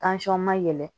ma yɛlɛn